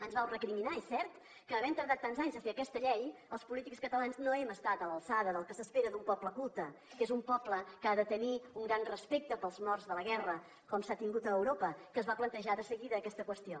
ens vau recriminar és cert que havent tardat tants anys a fer aquesta llei els polítics catalans no hem estat a l’alçada del que s’espera d’un poble culte que és un poble que ha de tenir un gran respecte pels morts de la guerra com s’ha tingut a europa que es va plantejar de seguida aquesta qüestió